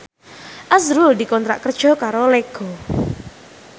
azrul dikontrak kerja karo Lego